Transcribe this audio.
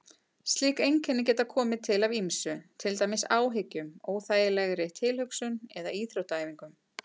Slík einkenni geta komið til af ýmsu, til dæmis áhyggjum, óþægilegri tilhugsun eða íþróttaæfingum.